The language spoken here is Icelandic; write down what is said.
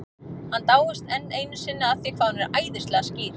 Hann dáist enn einu sinni að því hvað hún er æðislega skýr.